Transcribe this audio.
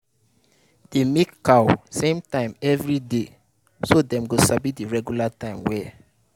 dey milk cow same time every day so dem go sabi the regular time way